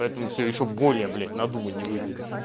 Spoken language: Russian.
поэтому все ещё более блять надуманнее выглядит